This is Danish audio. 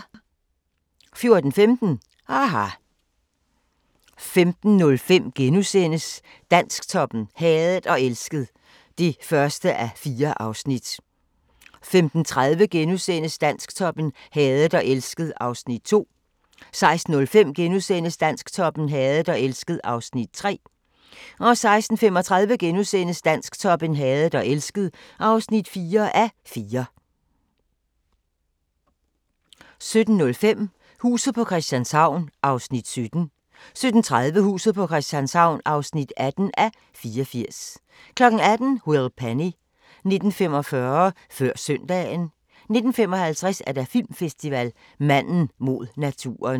14:15: aHA! 15:05: Dansktoppen: Hadet og elsket (1:4)* 15:35: Dansktoppen: Hadet og elsket (2:4)* 16:05: Dansktoppen: Hadet og elsket (3:4)* 16:35: Dansktoppen: Hadet og elsket (4:4)* 17:05: Huset på Christianshavn (17:84) 17:30: Huset på Christianshavn (18:84) 18:00: Will Penny 19:45: Før Søndagen 19:55: Filmfestival: Manden mod naturen